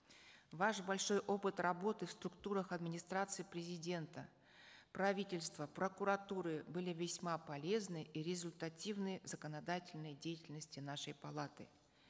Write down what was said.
ваш большой опыт работы в структурах администрации президента правительства прокуратуры были весьма полезны и результативны в законодательной деятельности нашей палаты